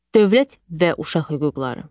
Dövlət və uşaq hüquqları.